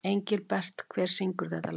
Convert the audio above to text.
Engilbert, hver syngur þetta lag?